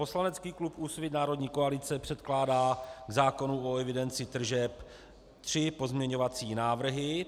Poslanecký klub Úsvit - národní koalice předkládá k zákonu o evidenci tržeb tři pozměňovací návrhy.